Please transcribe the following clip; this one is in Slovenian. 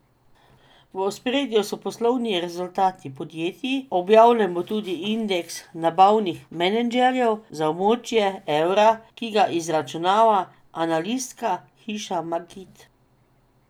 V ospredju so poslovni rezultati podjetij, objavljen bo tudi indeks nabavnih menedžerjev za območje evra, ki ga izračunava analitska hiša Markit.